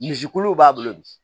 Misi kuluw b'a bolo bi